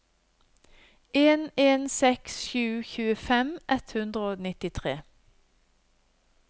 en en seks sju tjuefem ett hundre og nittitre